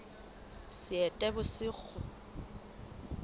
seetebosigo